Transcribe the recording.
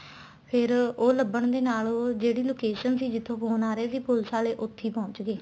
ਫ਼ੇਰ ਉਹ ਲੱਭਣ ਦੇ ਨਾਲ ਜਿਹੜੀ location ਸੀ ਜਿੱਥੋ phone ਆ ਰਹੇ ਸੀ police ਆਲੇ ਉੱਥੇ ਹੀ ਪਹੁੰਚ ਗਏ